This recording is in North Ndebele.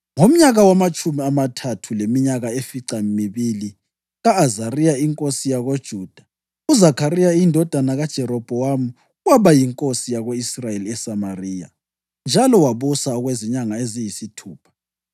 Ngomnyaka wamatshumi amathathu leminyaka efica mibili ka-Azariya inkosi yakoJuda, uZakhariya indodana kaJerobhowamu waba yinkosi yako-Israyeli eSamariya, njalo wabusa okwezinyanga eziyisithupha.